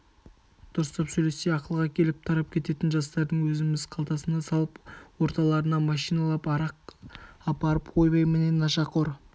дұрыстап сөйлессе ақылға келіп тарап кететін жастардың өзіміз қалтасына салып орталарына машиналап арақ апарып ойбай міне нашақор